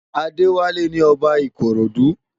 Adewale ni Òbá Ikorodu